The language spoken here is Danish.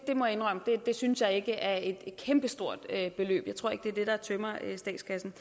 jeg må indrømme at det synes jeg ikke er et kæmpestort beløb jeg tror ikke det er det der tømmer statskassen